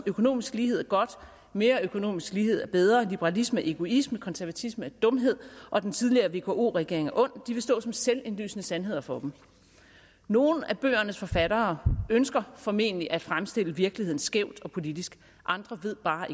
økonomisk lighed er godt mere økonomisk lighed er bedre liberalisme er egoisme konservatisme er dumhed og den tidligere vko regering er ond stå som selvindlysende sandheder for dem nogle af bøgernes forfattere ønsker formentlig at fremstille virkeligheden skævt og politisk andre ved bare